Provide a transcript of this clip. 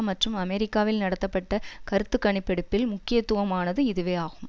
மற்றும் அமெரிக்காவில் நடத்தப்பட்ட கருத்துக்கணிப்பெடுப்பில் முக்கியத்துவமானது இதுவே ஆகும்